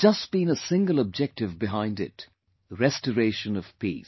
There has just been a single objective behind it Restoration of peace